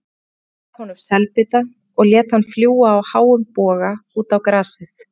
Gaf honum selbita og lét hann fljúga í háum boga út á grasið.